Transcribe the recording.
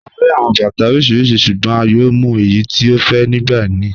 À ríí awọn bàtà oríṣiríṣí ṣùgbọ̀n à yóò mú èyí tí à fẹ́ nígbà míì.